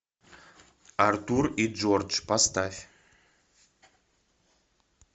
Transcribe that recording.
артур и джордж поставь